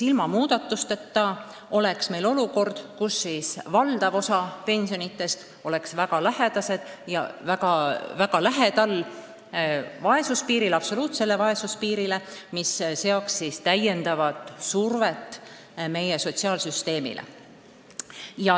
Ilma muudatusteta tekiks olukord, kus valdav osa pensionidest oleks väga lähedal absoluutse vaesuse piirile, ja see tähendaks täiendavat survet meie sotsiaalsüsteemile.